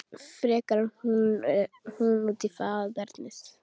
Frekar en hún út í faðernið.